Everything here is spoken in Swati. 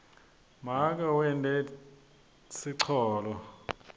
make wente sicholo